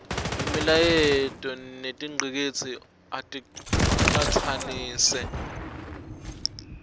imilayeto netingcikitsi aticatsanise